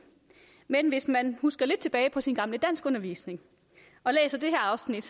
men hvis man husker lidt tilbage på sin gamle danskundervisning og læser det her afsnit